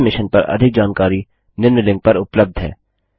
इस मिशन पर अधिक जानकारी निम्न लिंक पर उपलब्ध है